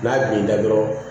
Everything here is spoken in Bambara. N'a binna dɔrɔn